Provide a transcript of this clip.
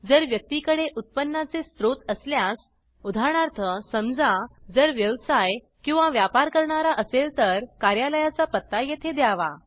जर व्यक्ती कडे उत्पन्नाचे स्त्रोत असल्यास उदाहरणार्थ समजा जर व्यवसाय किंवा व्यापार करणारा असेल तर कार्यालायाचा पत्ता येथे द्यावा